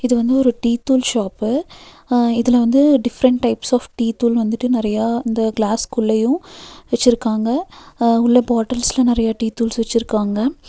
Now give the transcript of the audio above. இது வந்து ஒரு டீ தூள் ஷாப்பு அ இதுல வந்து டிஃப்ரென்ட் டைப்ஸ் ஆஃப் டீத்தூள் வந்துட்டு நெறைய இந்த கிளாஸ் உள்ளயு வச்சிருக்காங்க அ உள்ள பாட்டல்ஸ்ல நெறைய டீ தூள் வச்சிருக்காங்க.